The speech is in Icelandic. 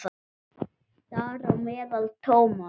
Þar á meðal Thomas.